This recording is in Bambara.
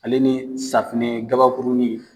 Ale ni safinɛ gabakurunin.